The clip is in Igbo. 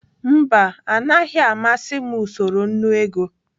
Mba, anaghị amasị m usoro nnu ego.